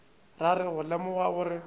ra re go lemoga gore